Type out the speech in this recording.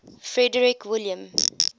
frederick william